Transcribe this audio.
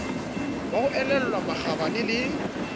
ba ho elellwa makgabane le